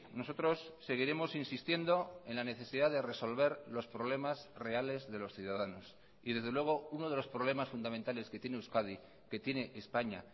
nosotros seguiremos insistiendo en la necesidad de resolver los problemas reales de los ciudadanos y desde luego uno de los problemas fundamentales que tiene euskadi que tiene españa